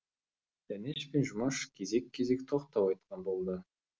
дәнеш пен жұмаш кезек кезек тоқтау айтқан болды